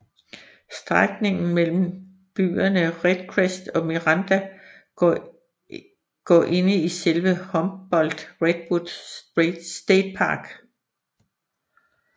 Strækningen mellem byerne Redcrest og Miranda går inde i selve Humboldt Redwood Statepark